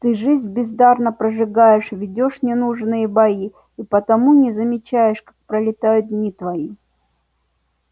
ты жизнь бездарно прожигаешь ведёшь ненужные бои и потому не замечаешь как пролетают дни твои